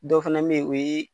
Dɔ fana be yen o ye